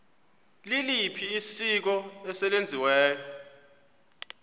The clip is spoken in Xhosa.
liliphi isiko eselenziwe